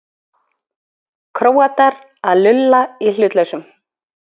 Króatar að lulla í hlutlausum?